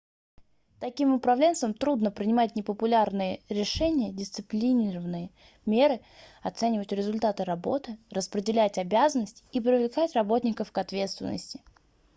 таким управленцам трудно принимать непопулярные решения дисциплинарные меры оценивать результаты работы распределять обязанности и привлекать работников к ответственности